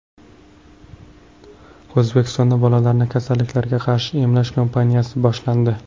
O‘zbekistonda bolalarni kasalliklarga qarshi emlash kampaniyasi boshlandi.